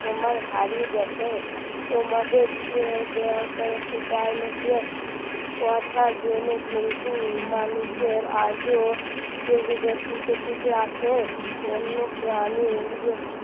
তোমায় হারিয়ে গেছে তোমাদের ইয়ে দানকীয় কথা জেনে কিন্তু মানুষের আজও টিকে টিকে আছে বন্যপ্রানীর